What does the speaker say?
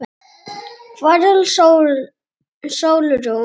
Hvar er Sólrún?